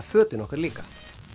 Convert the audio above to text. fötin okkar líka